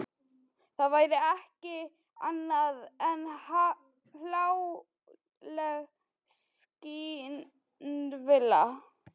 Það væri ekki annað en hláleg skynvilla.